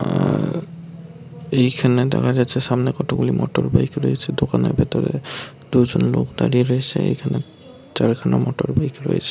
অ্যা এইখানে দেখা যাচ্ছে। সামনে কতগুলি মোটরবাইক রয়েছে দোকানের ভিতরে । দুজন লোক দাঁড়িয়ে রয়েছে এইখানে চারখানা মোটরবাইক রয়েছ।